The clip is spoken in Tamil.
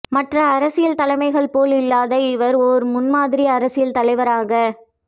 மற்ற அரசியல் தலைமைகள் போல் இல்லாது இவர் ஓர் முன்மாதிரி அரசியல் தலைவராக